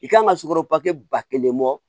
I kan ka sukaro pake ba kelen bɔ